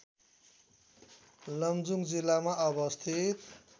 लमजुङ जिल्लामा अवस्थित